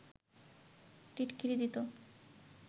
টিটকিরি দিত